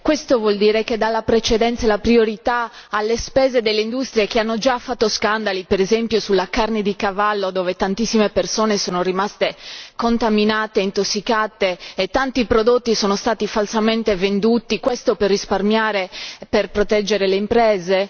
Questo vuol dire che dà la precedenza e la priorità alle spese delle industrie che hanno già fatto scandali, per esempio sulla carne di cavallo dove tantissime persone sono rimaste contaminate e intossicate e tanti prodotti sono stati falsamente venduti, questo per proteggere le imprese?